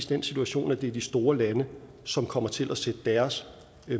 den situation at det er de store lande som kommer til at sætte deres